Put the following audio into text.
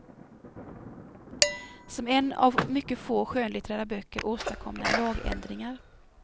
Som en av mycket få skönlitterära böcker åstadkom den lagändringar.